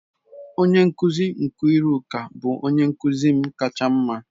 Onye nkuzi Nkiruka bụ onye nkuzi m kacha mma.